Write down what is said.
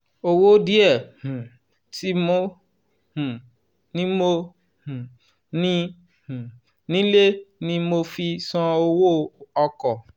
"owó díẹ̀ um tí mo um ní mo um ní um nílé ni mo fi san owó ọkọ̀.